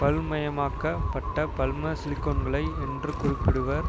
பல்மயமாக்கப் பட்ட பல்ம சிலிகோன்களை என்று குறிப்பிடுவர்